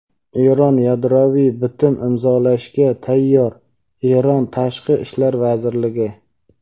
Eron yadroviy bitim imzolashga tayyor – Eron Tashqi ishlar vazirligi.